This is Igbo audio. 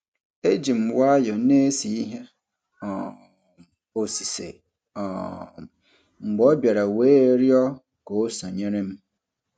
Eji m nwayọ na-ese ihe um osise um mgbe ọ bịara wee rịọ ka o sonyere m.